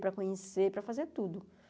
Para conhecer para fazer tudo